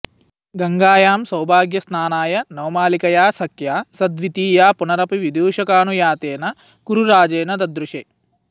गंगायां सौभाग्यस्नानाय नवमालिकया सख्या सद्वितीया पुनरपि विदूषकानुयातेन कुरुराजेन ददृशे